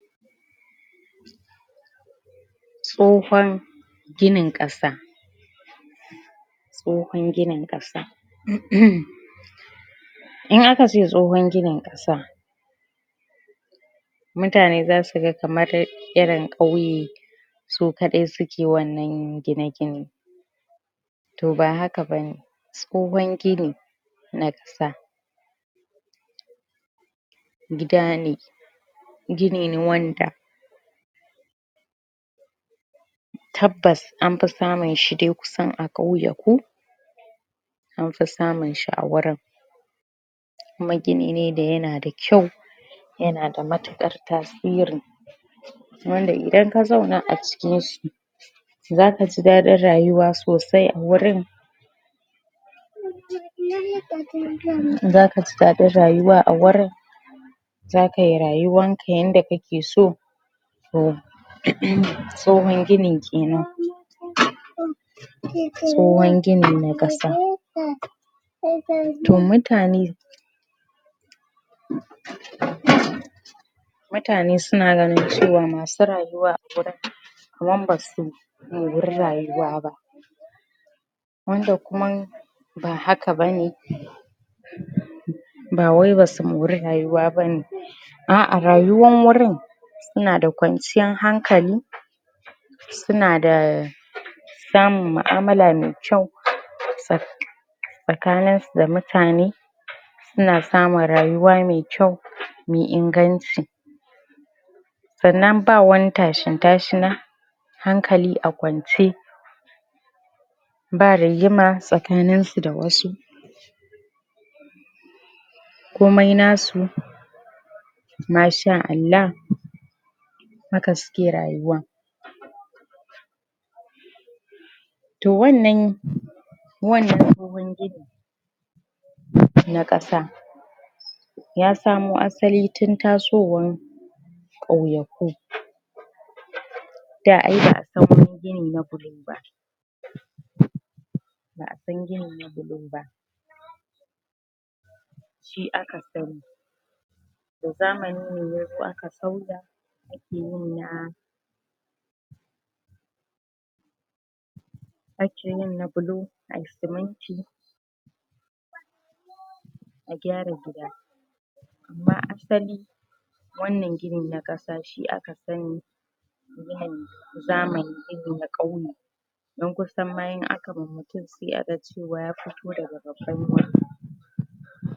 Tsohon ginin ƙasa tsohon ginin ƙasa uhm hmm in aka ce tsohon ginin ƙasa mutane zasu ga kamar irin ƙauye su kaɗai suke wannan gine gine to ba haka ba ne tsohon gini na ƙasa gida ne gini ne wanda tabbas an fi samun shi dai kusan a ƙauyaku anfi samun shi a wurin kuma gini ne da yana da kyau yana da matuƙar tasiri wanda idan ka zauna a cikin shi zaka ji daɗin rayuwa sosai a wurin? zaka ji daɗin rayuwa a wurin zaka yi rayuwanka yanda kake so tso uh uhm tsohon gini kenan? tsohon gini na ƙasa to mutane? mutane suna ganin cewa masu rayuwa a gurin kaman basu mori rayuwa ba wanda kuman ba haka bane ba wai basu mori rayuwa bane a a rayuwan wurin nnada kwanciyan hankali suna da samun mu'amala mai kyau Tsa tsakanin su da mutane nna samun rayuwa mai kyau mai inganci sannan ba wani tashin tashina hankali a kwance ba rigima tsakaninsu da wasu komai nasu ma sha Allah haka suke rayuwa to wannan wannan tsohon gi na ƙasa ya samo asali tun tasowan ƙauyaku da ai ba'a san gini na gini na bulo ba ba'a san gini na bulo ba shi aka sani da zamani ne ya zo aka sauya a ke yin na ake yin na bulo ayi siminti a gyara gida amma asali wannan gini na ƙasa shi aka sani ginin zamani gini na ƙauye dan kusan ma in aka ma mutum sai a ga cewa ya fito daga babban wuri